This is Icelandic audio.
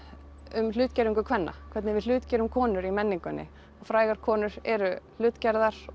um hlutgervingu kvenna hvernig við hlutgerum konur í menningunni og frægar konur eru hlutgerðar